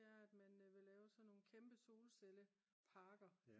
det er at man vil lave sådan nogle kæmpe solcelleparker